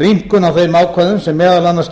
rýmkun á þeim ákvæðum sem meðal annars